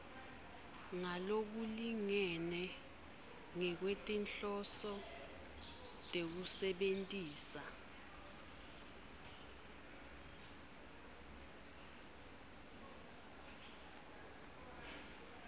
ngalokulingene ngekwetinhloso tekusebentisa